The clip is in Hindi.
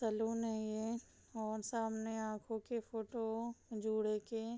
सलून नहीं है य और सामने आँखों के फोटो जुड़ के --